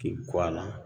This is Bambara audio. K'i kɔ a la